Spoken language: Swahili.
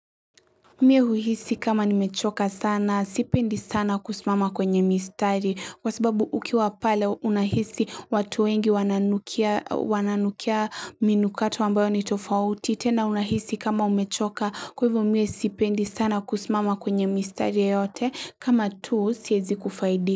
Mimi huhisi kama nimechoka sana sipendi sana kusimama kwenye mistari kwa sababu ukiwa pale unahisi watu wengi wananukia wananukia minukato ambayo ni tofauti tena unahisi kama umechoka kwa hivyo mimi sipendi sana kusimama kwenye mistari yeyote kama tu siwezi kufaidi.